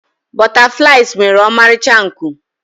butterflies nwere ọmarịcha nku